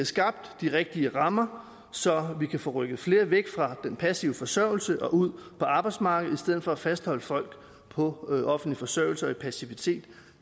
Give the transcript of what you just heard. skabt de rigtige rammer så vi kan få rykket flere væk fra den passive forsørgelse og ud på arbejdsmarkedet i stedet for at fastholde folk på offentlig forsørgelse og i passivitet